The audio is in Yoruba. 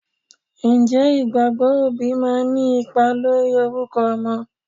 Ǹjẹ́ ìgbàgbọ́ òbí máa ń ní ipa lórí orúkọ ọmọ?